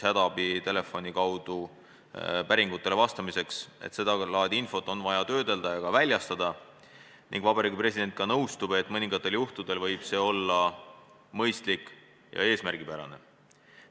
Hädaabitelefoni kaudu päringutele vastamiseks on seda laadi infot vaja töödelda ning Vabariigi President nõustub, et mõningatel juhtudel võib see olla ka mõistlik ja eesmärgipärane.